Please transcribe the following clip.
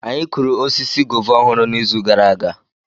Anyị kụrụ osisi guava ọhụrụ n'izu gara aga.